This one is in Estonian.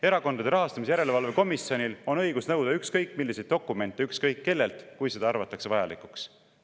Erakondade Rahastamise Järelevalve Komisjonil on õigus nõuda ükskõik milliseid dokumente ükskõik kellelt, kui seda peetakse vajalikuks.